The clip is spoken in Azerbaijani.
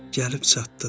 Gəlib çatdıq.